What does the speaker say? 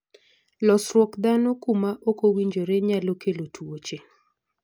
losrwuok dhano kuma okowinjore, nyalo kelo tuoche.